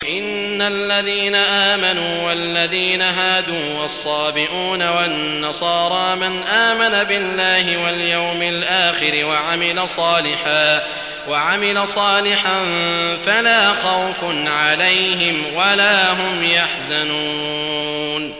إِنَّ الَّذِينَ آمَنُوا وَالَّذِينَ هَادُوا وَالصَّابِئُونَ وَالنَّصَارَىٰ مَنْ آمَنَ بِاللَّهِ وَالْيَوْمِ الْآخِرِ وَعَمِلَ صَالِحًا فَلَا خَوْفٌ عَلَيْهِمْ وَلَا هُمْ يَحْزَنُونَ